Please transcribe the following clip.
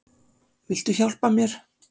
Viltu hjálpa mér?